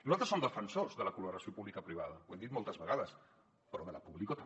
nosaltres som defensors de la col·laboració publico·privada ho hem dit moltes vegades però de la pública també